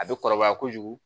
A bɛ kɔrɔbaya kojugu